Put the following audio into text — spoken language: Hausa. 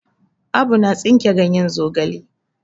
Abu na tsinke ganyen zogala.